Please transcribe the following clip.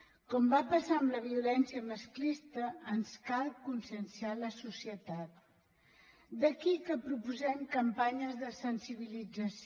com va passar amb la violència masclista ens cal conscienciar la societat d’aquí que proposem campanyes de sensibilització